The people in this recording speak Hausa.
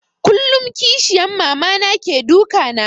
Kullum kishiyan Mama na ke duka na